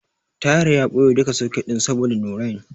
Tahir ya ɓoye duka soket ɗin saboda Nurain.